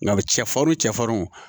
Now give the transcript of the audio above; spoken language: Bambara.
Nka bi cɛ farinw cɛ farinw